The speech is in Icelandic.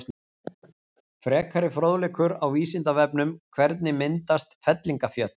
Frekari fróðleikur á Vísindavefnum: Hvernig myndast fellingafjöll?